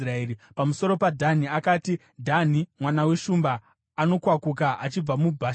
Pamusoro paDhani akati: “Dhani mwana weshumba, anokwakuka achibva muBhashani.”